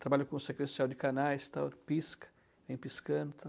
Trabalho com sequencial de canais e tal pisca, vem piscando e tal.